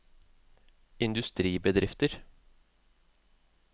industribedrifter